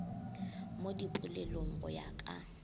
mo dipolelong go ya ka